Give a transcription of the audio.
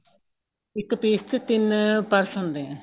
ਇੱਕ piece ਚ ਤਿੰਨ purse ਹੁੰਦੇ ਏ